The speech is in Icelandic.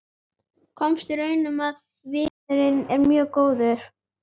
Komst að raun um að viðurinn er mjög góður.